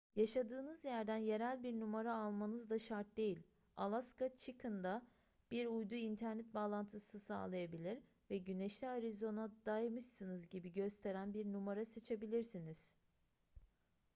yaşadığınız yerden yerel bir numara almanız da şart değil alaska chicken'da bir uydu internet bağlantısı sağlayabilir ve güneşli arizona'daymışsınız gibi gösteren bir numara seçebilirsiniz